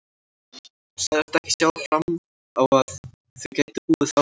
Hún sagðist ekki sjá fram á að þau gætu búið áfram saman.